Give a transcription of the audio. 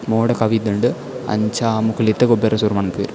ಮೋಡ ಕವಿದ್ಂಡ್ ಅಂಚ ಮೊಕುಲ್ ಇತ್ತೆ ಗೊಬ್ಬರೆ ಸುರು ಮನ್ಪುವೆರ್ .